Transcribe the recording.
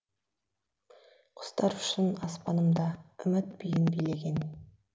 құстар ұшсын аспанымда үміт биін билеген